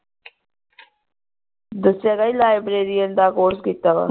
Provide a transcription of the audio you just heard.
ਦਸਿਆ ਤੇ ਸੀ ਲਾਇਬ੍ਰੇਰਿਯਨ ਦਾ ਕੋਰਸ ਕੀਤਾ ਵਾ